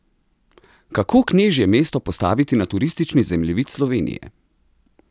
Kako knežje mesto postaviti na turistični zemljevid Slovenije?